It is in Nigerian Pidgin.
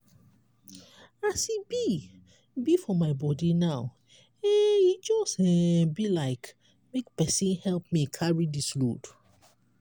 as e be be for my body now eh e just um be like make pesin help me carry dis load.